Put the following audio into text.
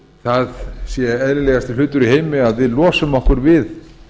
það sé eðlilegasti hlutur í heimi að við losum okkur við